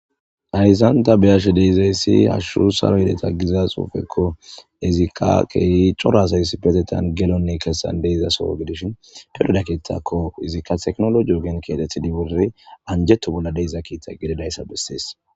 hayssanta beyashe deizayssi hashshu saro yedeta giza xuufekko izikka kehi corasayss petetan gelonne kessan deizasoo gidishin perdaketakko izikka teknologi ogen kiatethi dibori anjeto bolla deiza kiita gedidayssa bessees